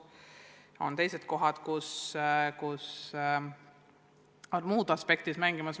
Ja on teised kohad, kus muud aspektid mängivad.